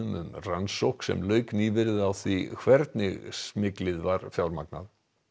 um rannsókn sem lauk nýverið á því hvernig smyglið var fjármagnað